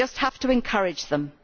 We just have to encourage them.